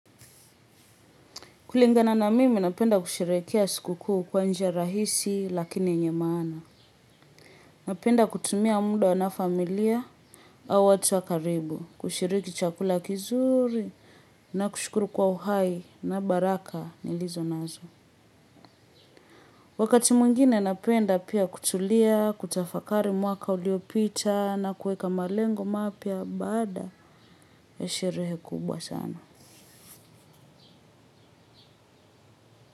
Kulingana na mimi napenda kusherehekea siku kuu kwa njia rahisi lakini yenye maana. Napenda kutumia muda na familia au watu wa karibu. Kushiriki chakula kizuri na kushukuru kwa uhai na baraka nilizo nazo. Wakati mwingine napenda pia kutulia kutafakari mwaka uliopita na kuweka malengo mapya baada ya sherehe kubwa.